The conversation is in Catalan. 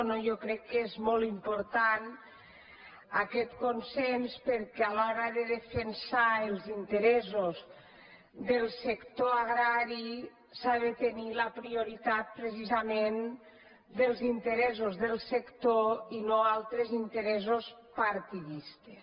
jo crec que és molt important aquest consens perquè a l’hora de defensar els interessos del sector agrari s’ha de tenir la prioritat precisament dels interessos del sector i no altres interessos partidistes